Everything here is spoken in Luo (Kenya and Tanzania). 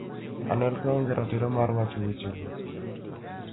Anelka onge gi ratiro mar wacho wechego".